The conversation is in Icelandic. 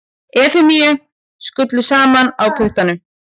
Efemíu skullu saman á puttanum.